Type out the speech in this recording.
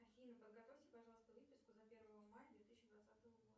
афина подготовьте пожалуйста выписку за первое мая две тысячи двадцатого года